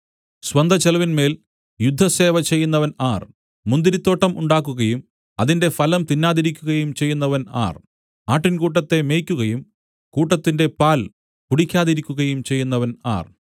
സ്വന്ത ചെലവിന്മേൽ യുദ്ധസേവ ചെയ്യുന്നവൻ ആർ മുന്തിരിത്തോട്ടം ഉണ്ടാക്കുകയും അതിന്റെ ഫലം തിന്നാതിരിക്കുകയും ചെയ്യുന്നവൻ ആർ ആട്ടിൻകൂട്ടത്തെ മേയിക്കുകയും കൂട്ടത്തിന്റെ പാൽ കുടിക്കാതിരിക്കുകയും ചെയ്യുന്നവൻ ആർ